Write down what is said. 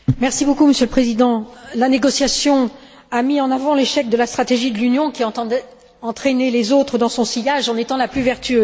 Monsieur le Président, la négociation a mis en avant l'échec de la stratégie de l'Union qui entendait entraîner les autres dans son sillage en étant la plus vertueuse.